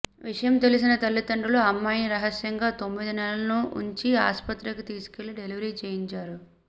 విషయం తెలిసిన తల్లదండ్రులు అమ్మాయిని రహస్యంగా తొమ్మిది నెలలు ఉంచి ఆస్పత్రికి తీసుకెళ్లి డెలివరీ చేయించారు